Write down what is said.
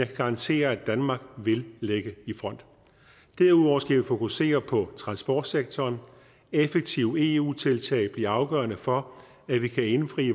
kan garantere at danmark vil ligge i front derudover skal vi fokusere på transportsektoren effektive eu tiltag bliver afgørende for at vi kan indfri